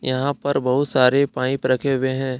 यहाँ पर बहुत सारे पाईप रखे हुए है।